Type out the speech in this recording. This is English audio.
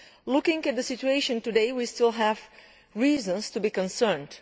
Looking at the situation today, we still have reason to be concerned.